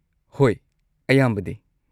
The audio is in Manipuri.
ꯍꯣꯏ, ꯑꯌꯥꯝꯕꯗꯤ꯫